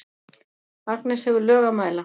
Agnes hefur lög að mæla.